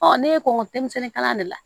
ne ko nko denmisɛnnin de la